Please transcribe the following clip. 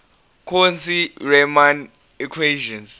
cauchy riemann equations